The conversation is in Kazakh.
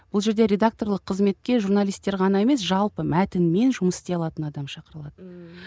бұл жерде редакторлық қызметке журналистер ғана емес жалпы мәтінмен жұмыс істей алатын адам шақырылады ммм